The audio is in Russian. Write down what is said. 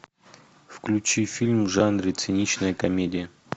включи фильм в жанре циничная комедия